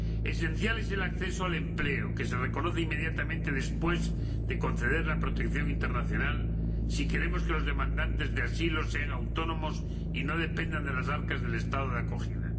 Esencial es el acceso al empleo, que se reconoce inmediatamente después de conceder la protección internacional, si queremos que los demandantes de asilo sean autónomos y no dependan de las arcas del Estado de acogida.